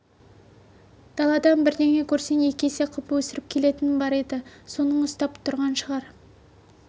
даладан бірдеңе көрсең екі есе қып өсіріп келетінің бар еді соның ұстап тұрған шығар